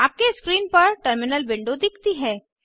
आपके स्क्रीन पर terminal window दिखती है